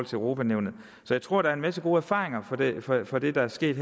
til europa nævnet så jeg tror der er en masse gode erfaringer fra det fra det der er sket